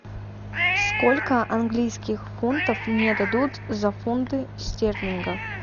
сколько английских фунтов мне дадут за фунты стерлинга